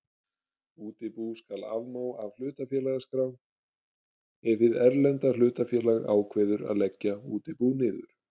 Útibú skal afmá af hlutafélagaskrá ef hið erlenda hlutafélag ákveður að leggja útibú niður.